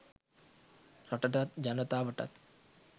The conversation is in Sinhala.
රටටත් ජනතාවටත්